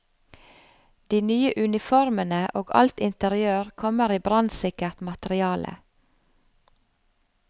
De nye uniformene og alt interiør kommer i brannsikkert materiale.